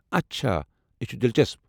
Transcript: اچھا، یہ چُھ دِلچسپ۔